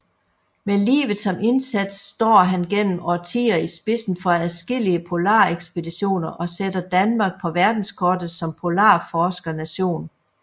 Med livet som indsats står han gennem årtier i spidsen for adskillige polarekspeditioner og sætter Danmark på verdenskortet som polarforskernation